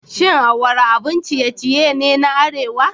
Shin awara abun ciye-ciye ne na arewa?